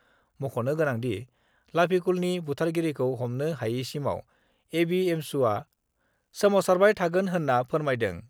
मख'नो गोनांदि, लाफिकुलनि बुथारगिरिखी हमनो हायैसिमाव एबिएमसुआ सोमावसारबाय थागोन होन्ना फोरमायदों।